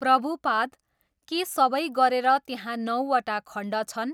प्रभुपाद, के सबै गरेर त्यहाँ नौवटा खण्ड छन्?